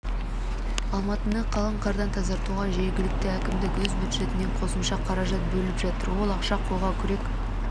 алматыны қалың қардан тазартуға жергілікті әкімдік өз бюджетінен қосымша қаражат бөліп жатыр ол ақша қолға күрек